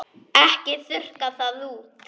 Ekki þurrka það út.